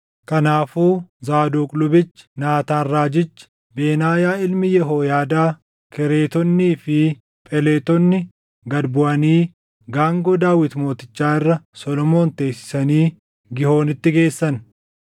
Kanaafuu Zaadoq lubichi, Naataan raajichi, Benaayaa ilmi Yehooyaadaa, Kereetonnii fi Pheletonni gad buʼanii gaangoo Daawit mootichaa irra Solomoon teessisanii Giihoonitti geessan.